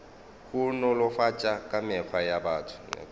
go nolofatša kamego ya batho